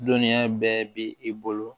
Dɔnniya bɛɛ bi i bolo